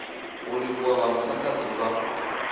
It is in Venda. u livhuwa vhamusanda d uvha